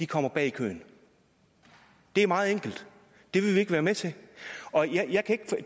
kommer bag i køen det er meget enkelt det vil vi ikke være med til